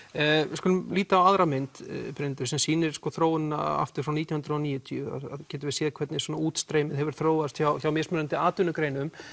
við skulum líta á aðra mynd Brynhildur sem sýnir þróunina aftur frá nítján hundruð og níutíu þar getum við séð hvernig útstreymið hefur þróast hjá hjá mismunandi atvinnugreinum